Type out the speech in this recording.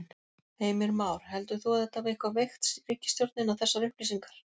Heimir Már: Heldur þú að þetta hafi eitthvað veikt ríkisstjórnina þessar upplýsingar?